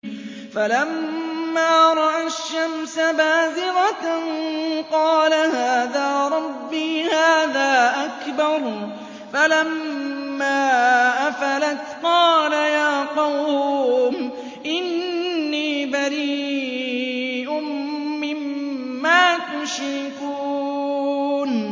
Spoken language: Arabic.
فَلَمَّا رَأَى الشَّمْسَ بَازِغَةً قَالَ هَٰذَا رَبِّي هَٰذَا أَكْبَرُ ۖ فَلَمَّا أَفَلَتْ قَالَ يَا قَوْمِ إِنِّي بَرِيءٌ مِّمَّا تُشْرِكُونَ